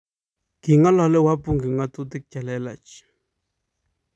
king'alale wabunge ng'otutik chelelach